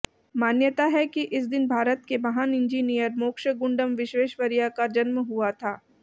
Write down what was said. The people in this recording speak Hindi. मान्यता है कि इस दिन भारत के महान इंजीनियर मोक्षगुंडम विश्वेश्वरैया का जन्म हुआ था